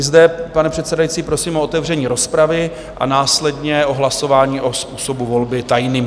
I zde, pane předsedající, prosím o otevření rozpravy a následně o hlasování o způsobu volby - tajně.